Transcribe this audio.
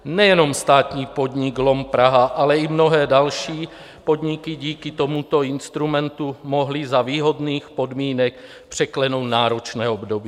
Nejen státní podnik LOM Praha, ale i mnohé další podniky díky tomuto instrumentu mohly za výhodných podmínek překlenout náročné období.